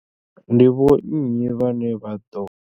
Ndi vho nnyi vhane vha ḓo.